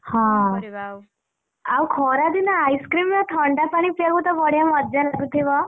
ହଁ ଆଉ ଖରାଦିନେ ice cream ଆଉ ଥଣ୍ଡା ପାଣି ପିଇବାକୁତ ବଢିଆ ମଜା ଲାଗୁଥିବ?